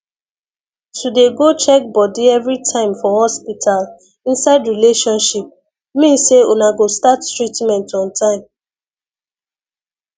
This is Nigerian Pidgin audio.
to dey go check body everytime for hospital inside relationship mean say una go start treatment on time